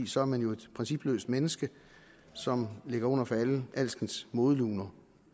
så er man jo et principløst menneske som ligger under for alskens modeluner